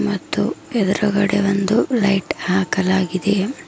ಮತ್ತು ಎದ್ರುಗಡೆ ಒಂದು ಲೈಟ್ ಹಾಕಲಾಗಿದೆ.